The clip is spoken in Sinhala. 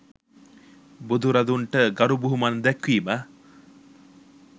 බුදුරදුන්ට ගරු බුහුමන් දැක්වීම,